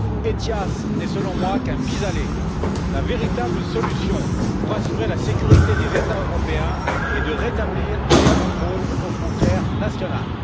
ETIAS n'est selon moi qu'un pis aller. La véritable solution pour assurer la sécurité des États européens est de rétablir les contrôles aux frontières nationales.